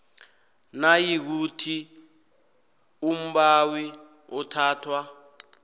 nayikuthi umbawi uthathwa